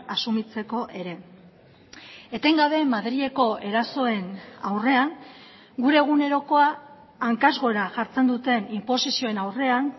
asumitzeko ere etengabe madrileko erasoen aurrean gure egunerokoa hankaz gora jartzen duten inposizioen aurrean